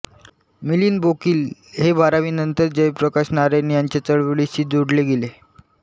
मिलिंद बोकील हे बारावीनंतरच जयप्रकाश नारायण यांच्या चळवळीशी जोडले गेले